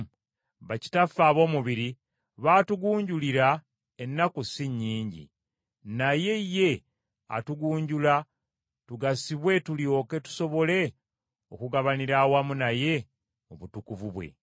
Bakitaffe ab’omubiri baatugunjulira ennaku si nnyingi, naye ye atugunjula tugasibwe tulyoke tusobole okugabanira awamu naye mu butukuvu bwe.